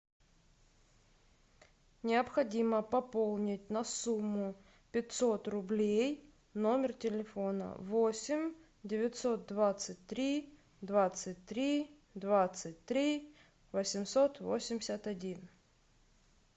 необходимо пополнить на сумму пятьсот рублей номер телефона восемь девятьсот двадцать три двадцать три двадцать три восемьсот восемьдесят один